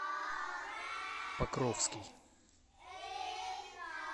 покровский